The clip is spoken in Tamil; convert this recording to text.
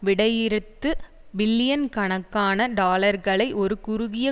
விடையிறுத்து பில்லியன் கணக்கான டாலர்களை ஒரு குறுகிய